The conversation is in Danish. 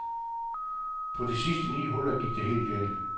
På de sidste ni huller gik det helt galt.